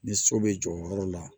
Ni so bɛ jɔ o yɔrɔ la